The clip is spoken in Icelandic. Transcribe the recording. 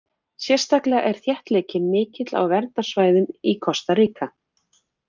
Sérstaklega er þéttleikinn mikill á verndarsvæðum í Kosta Ríka.